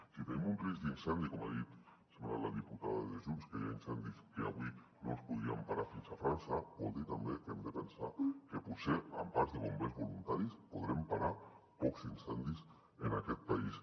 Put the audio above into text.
si tenim un risc d’incendi com ha dit em sembla la diputada de junts que hi ha incendis que avui no els podríem parar fins a frança vol dir també que hem de pensar que potser amb parcs de bombers voluntaris podrem parar pocs incendis en aquest país